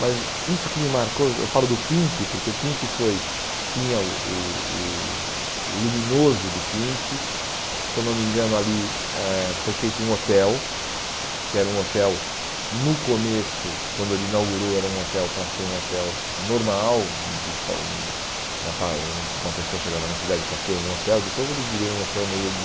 Mas isso que me marcou, eu falo do Pink, porque o Pink foi tinha o o o o luminoso do Pink, se eu não me engano ali eh foi feito um hotel, que era um hotel no começo, quando ele inaugurou era um hotel para ser um hotel normal, de uma uma pessoa chegava na cidade para ter um hotel, depois ele virou um hotel meio de...